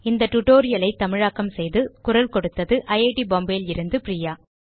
இந்த tutorial ஐ தமிழாக்கம் செய்து குரல் கொடுத்தது ஐட் பாம்பே லிருந்து பிரியா